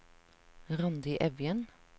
Randi Evjen